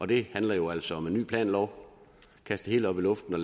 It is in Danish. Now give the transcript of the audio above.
det handler jo altså om en ny planlov kast det hele op i luften